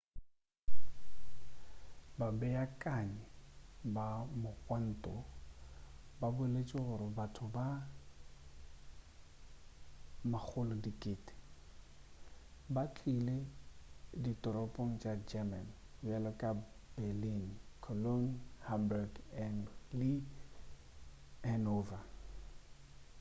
babeakanyi ba mogwanto ba boletše gore batho ba 100,000 ba tlile ditoropong tša german bjalo ka berlin cologne hamburg le hanover